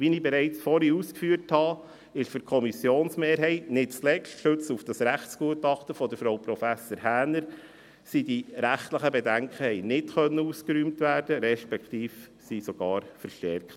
Wie ich bereits vorhin ausgeführt habe, konnten die rechtlichen Bedenken für die Kommissionsmehrheit – nicht zuletzt gestützt auf das Rechtsgutachten von Frau Prof. Häner – nicht ausgeräumt werden, respektive wurden sogar verstärkt.